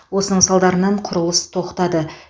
осының салдарынан құрылыс тоқтады